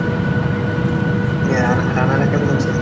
অ্যা রানা রানারা কেমন আছে?